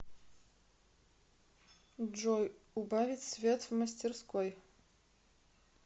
джой убавить свет в мастерской